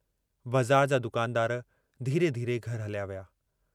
बज़ार जा दुकानदार धीरे-धीरे घर हलिया विया।